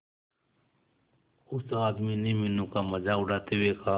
उस आदमी ने मीनू का मजाक उड़ाते हुए कहा